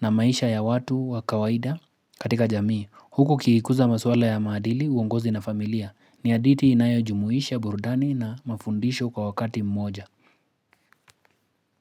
na maisha ya watu wa kawaida katika jamii Huku kikikuza maswala ya maadili uongozi na familia ni hadithi inayo jumuisha burudani na mafundisho kwa wakati mmoja.